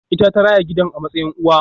Ita ta raya gidan a matsayin uwa